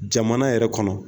Jamana yɛrɛ kɔnɔ